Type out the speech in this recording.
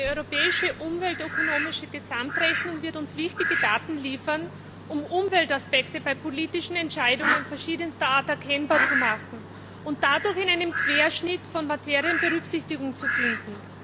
Eine europäische umweltökonomische Gesamtrechnung wird uns wichtige Daten liefern, um Umweltaspekte bei politischen Entscheidungen verschiedenster Art erkennbar zu machen und dadurch in einem Querschnitt von Materien Berücksichtigung zu finden.